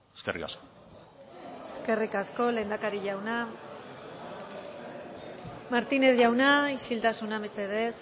eskerrik asko eskerrik asko lehendakari jauna martínez jauna isiltasuna mesedez